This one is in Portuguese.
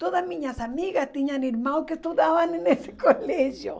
Todas minhas amigas tinham irmãos que estudavam em nesse colégio.